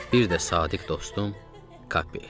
Bir də sadiq dostum Kapi.